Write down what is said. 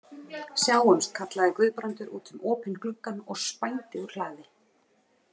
Sjáumst, kallaði Guðbrandur út um opinn gluggann og spændi úr hlaði.